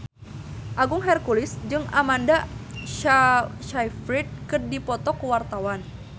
Agung Hercules jeung Amanda Sayfried keur dipoto ku wartawan